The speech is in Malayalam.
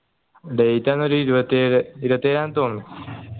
date അന്നൊരു ഇരുപത്തിയേഴു ഇരുപത്തിയേഴാ തോന്നുണു